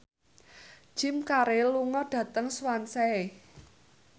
Jim Carey lunga dhateng Swansea